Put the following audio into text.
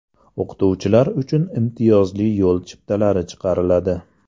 O‘qituvchilar uchun imtiyozli yo‘l chiptalari chiqariladi.